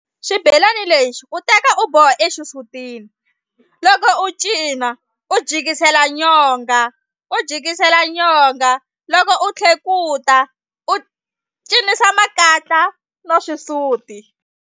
Xibelani lexi u teka u boha exisutini loko u cina u jikisela nyonga u jikisela nyonga loko u tlhekuta u cinisa makatla no xisuti.